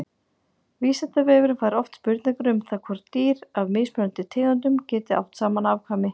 Vísindavefurinn fær oft spurningar um það hvort dýr af mismunandi tegundum geti átt saman afkvæmi.